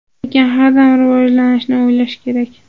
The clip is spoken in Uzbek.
Lekin har dam rivojlanishni o‘ylash kerak.